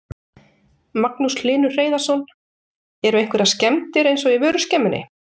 Magnús Hlynur Hreiðarsson: Eru einhverjar skemmdir eins og í vöruskemmunni?